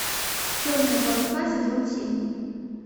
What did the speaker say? черные паруса сезон семь